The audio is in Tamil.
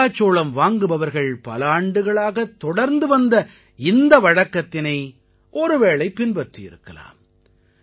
மக்காச்சோளம் வாங்குபவர்கள் பல ஆண்டுகளாக தொடர்ந்து வந்த இந்த வழக்கத்தினை ஒருவேளை பின்பற்றியிருக்கலாம்